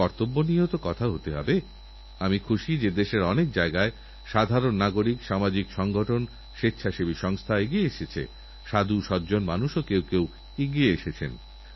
বিজ্ঞানীদের প্রচেষ্টার মাধ্যমে নতুন ঔষধ আবিষ্কারকরে এই রোগের বিরুদ্ধে লড়াই করতে বছরের পর বছর কেটে যায় তখন এই সব রোগ নতুনসমস্যার সৃষ্টি করে সেইজন্য অ্যাণ্টিবায়োটিক ব্যবহারের প্রতি আমাদের সচেতনতারদরকার